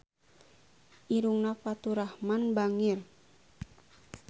Irungna Faturrahman bangir